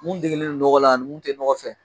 Mun degelen don nɔgɔ la ani mun tɛ nɔgɔ fɛ.